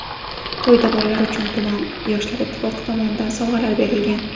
To‘yda bolalar uchun tuman Yoshlar Ittifoqi tomonidan sovg‘alar berilgan.